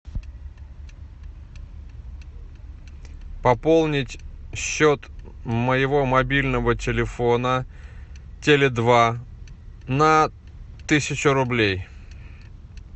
пополнить счет моего мобильного телефона теле два на тысячу рублей